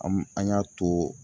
An an y'a to